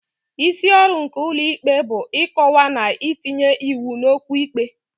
Isi ọrụ nke ụlọ ikpe bụ ịkọwa na itinye iwu n'okwu ikpe.